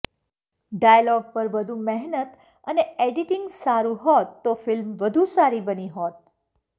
dialog પર વધુ મહેનત અને એડિટિંગ સારુ હોત તો ફિલ્મ વધુ સારી બની હોત